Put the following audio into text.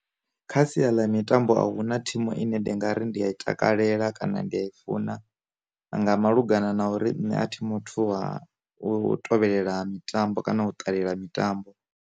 Kha sia ḽa mitambo a huna thimu ine ndi nga ri ndi a i takalela kana ndi a i funa, nga malugana na uri nṋe a thi muthu wa u tevhelela mitambo kana u ṱalela mitambo.